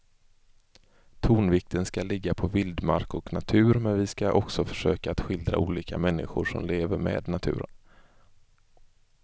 Tonvikten ska ligga på vildmark och natur men vi ska också försöka att skildra olika människor som lever med naturen.